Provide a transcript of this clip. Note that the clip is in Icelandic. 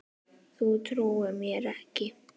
Þú trúir mér ekki?